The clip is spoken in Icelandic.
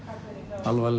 alvarlega